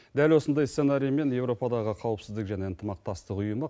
дәл осындай сценариймен еуропадағы қауіпсіздік және ынтымақтастық ұйымы